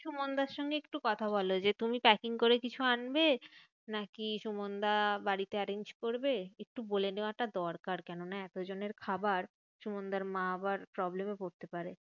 সুমানদার সঙ্গে একটু কথা বলো যে, তুমি packing করে কিছু আনবে? নাকি সুমানদা বাড়িতে arrange করবে? একটু বলে দেওয়াটা দরকার। কেননা এত জনের খাবার সুমানদার মা আবার problem এ পড়তে পারে।